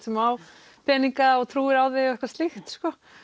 sem á peninga og trúir á þig og eitthvað slíkt